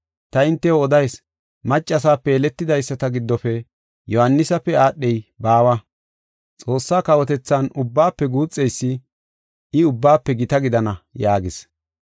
Ta hintew odayis; maccasape yeletidaysata giddofe Yohaanisape aadhey baawa. Xoossaa kawotethan ubbaafe guuxeysi, I ubbaafe gita gidana” yaagis.